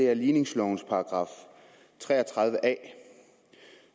er ligningslovens § tre og tredive a